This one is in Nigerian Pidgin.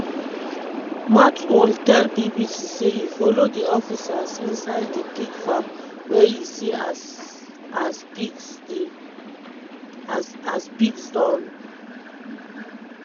mathole tell bbc say e follow di officers inside di pig farm wia e see as as pigs don